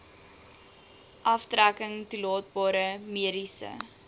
aftrekking toelaatbare mediese